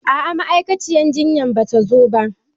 A'a ma'aikaciyar jinyan ba zata zo ba.